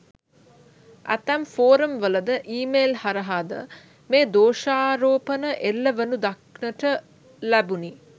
ඇතැම් ෆෝරම් වලද ඊමේල් හරහා ද මේ දෝෂාරෝපණ එල්ලවනු දක්නට ලැබුණි.